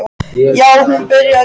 Já, hún bara byrjaði í gær.